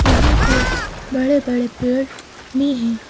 यहां पर बड़े बड़े पेड़ मे हैं।